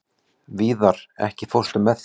Víðar, ekki fórstu með þeim?